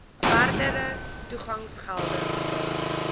verdere toegangsgeld betaal